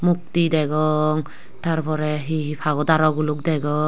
mukti degong tar pore he he pagudar o guluk degong.